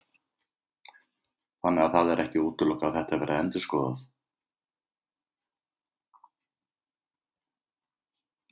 Höskuldur Kári: Þannig að það er ekki útilokað að þetta verði endurskoðað?